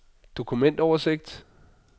dokumentoversigt